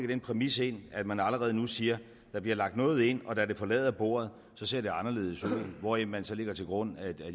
den præmis ind i det at man allerede nu siger at der bliver lagt noget ind og da det forlader bordet ser det anderledes ud hvoraf man så lægger til grund at